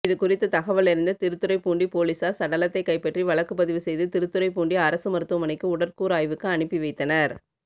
இதுகுறித்து தகவலறிந்த திருத்துறைபூண்டி போலீசாா் சடலத்தை கைப்பற்றி வழக்குப்பதிவு செய்து திருத்துறைப்பூண்டி அரசு மருத்துவமனைக்கு உடற்கூறு ஆய்வுக்கு அனுப்பி வைத்தனா்